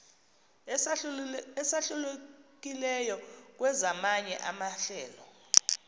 esahlukileyo kwezamanye amahlelo